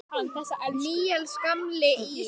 Heyrðu. hvað ertu að gera?